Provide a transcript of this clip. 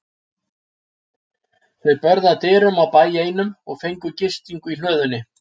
Þau börðu að dyrum á bæ einum og fengu gistingu í hlöðunni.